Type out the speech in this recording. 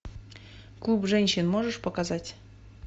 клуб женщин можешь показать